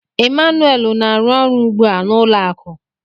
Emmanuel na-arụ ọrụ ugbu a n'ụlọ akụ.